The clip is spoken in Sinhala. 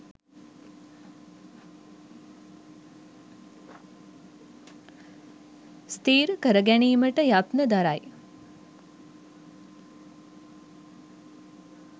ස්ථිර කර ගැනීමට යත්න දරයි.